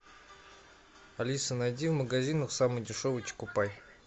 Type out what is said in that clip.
алиса найди в магазинах самый дешевый чокопай